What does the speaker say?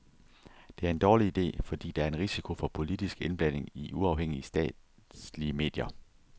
Det er en dårlig ide, fordi der er en risiko for politisk indblanding i uafhængige statslige medier.